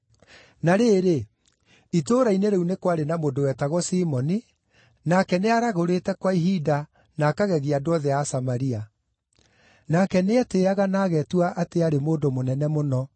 Na rĩrĩ, itũũra-inĩ rĩu nĩ kwarĩ na mũndũ wetagwo Simoni, nake nĩaragũrĩte kwa ihinda na akagegia andũ othe a Samaria. Nake nĩetĩĩaga na ageetua atĩ aarĩ mũndũ mũnene mũno,